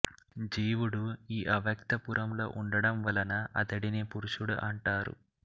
జీవుడు ఈ అవ్యక్త పురములో ఉండడం వలన అతడిని పురుషుడు అంటారు